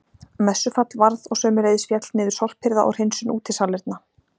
Messufall varð og sömuleiðis féll niður sorphirða og hreinsun útisalerna.